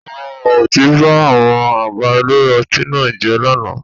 Àwọn ọ̀mùtí ba àwọn àga ilé ọtí náà jẹ́ lánàá.